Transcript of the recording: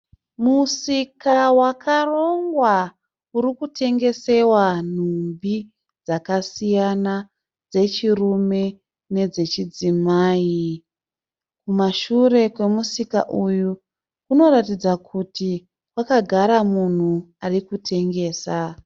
Musika wakarongwa uri kutengesesawa nhumbi dzakasiyana dzechurume nedzechidzimai. Kumashure kwemusika uyu kunoratidza kuti kwakagara munhu ari kutengesa.